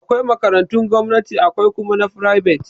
Akwai makarantun gomnati akwai kuma ta fribet.